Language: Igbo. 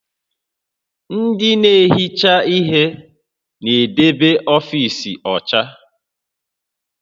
Ndị na-ehicha ihe na-edebe ọfiisi ọcha